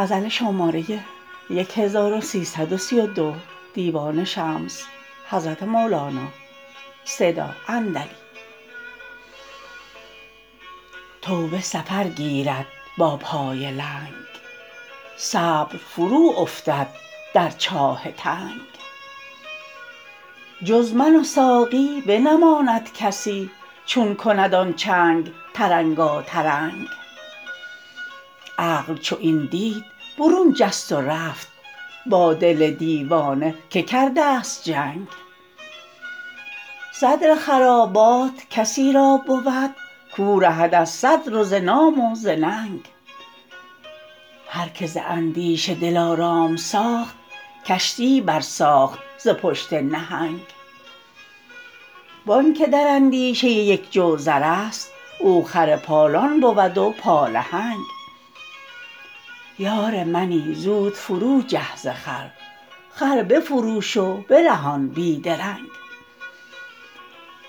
توبه سفر گیرد با پای لنگ صبر فروافتد در چاه تنگ جز من و ساقی بنماند کسی چون کند آن چنگ ترنگاترنگ عقل چو این دید برون جست و رفت با دل دیوانه که کردست جنگ صدر خرابات کسی را بود کو رهد از صدر و ز نام و ز ننگ هر کی ز اندیشه دلارام ساخت کشتی برساخت ز پشت نهنگ و آنک در اندیشه یک جو زر است او خر پالان بود و پالهنگ یار منی زود فرو جه ز خر خر بفروش و برهان بی درنگ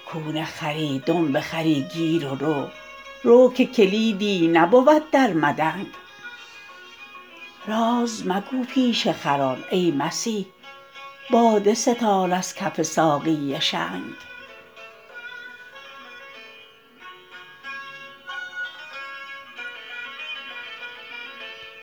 کون خری دنب خری گیر و رو رو که کلیدان نبود بی مدنگ راز مگو پیش خران ای مسیح باده ستان از کف ساقی شنگ